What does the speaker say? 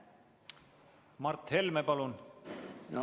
Mart Helme, palun!